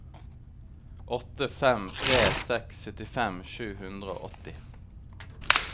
åtte fem tre seks syttifem sju hundre og åtti